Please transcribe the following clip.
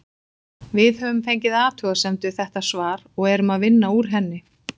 Við höfum fengið athugasemd við þetta svar og erum að vinna úr henni.